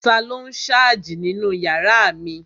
Taló n sáàjì nínu yàrá mi?